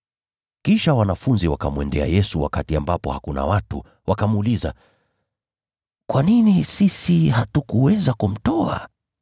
Kisha wanafunzi wakamwendea Yesu wakiwa peke yao, wakamuuliza, “Kwa nini sisi hatukuweza kumtoa?”